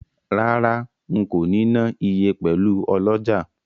Rara, nko ni na iye pelu oloja.